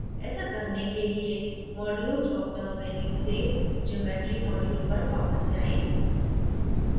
ऐसा करने के लिए modules dropdown menu से geometry module पर वापस जाएँ